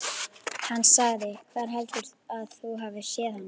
Hann sagði: Hvar heldurðu að þú hafir séð hana?